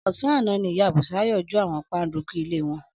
Ọ̀sán àná ni ìyá Bùsáyọ̀ jó àwọn páńdukú ilé wọn.